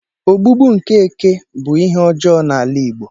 Ogbugbu nke Eke bu ihe ojoo n'ala Igbo.